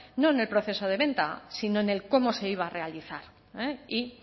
no en el proceso de venta sino en el cómo se iba a realizar y